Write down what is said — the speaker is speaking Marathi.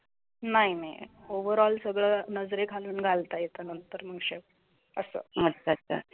नाही नाही ओव्हर ऑल सगळं नजरे खालून घालता येते नंतर